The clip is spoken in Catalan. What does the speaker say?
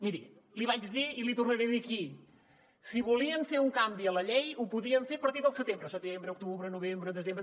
miri l’hi vaig dir i l’hi tornaré a dir aquí si volien fer un canvi a la llei ho podien fer a partir del setembre setembre octubre novembre desembre